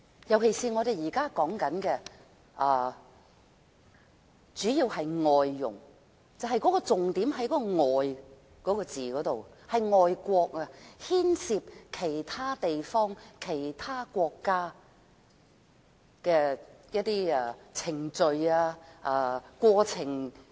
特別是我們現在主要討論的是外傭，重點在"外"這個字，是外國，牽涉其他地方或國家的程序和過程。